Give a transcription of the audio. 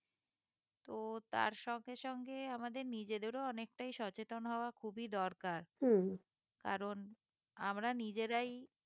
তো তার সঙ্গে সঙ্গে আমাদের` নিজেদেরও অনেকটাই সচেতন হওয়া খুবই দরকার কারণ আমরা নিজেরাই